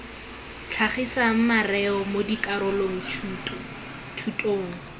tlhagisang mareo mo dikarolo thutong